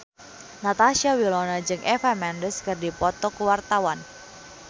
Natasha Wilona jeung Eva Mendes keur dipoto ku wartawan